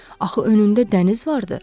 Axı önündə dəniz vardı.